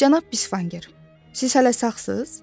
Cənab Bisvanger, siz hələ sağsız?